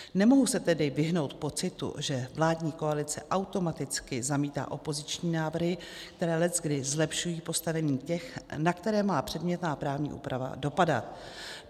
Nemohu se tedy vyhnout pocitu, že vládní koalice automaticky zamítá opoziční návrhy, které leckdy zlepšují postavení těch, na které má předmětná právní úprava dopadat.